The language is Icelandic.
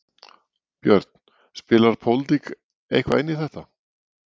Björn: Spilar pólitík eitthvað inn í þetta?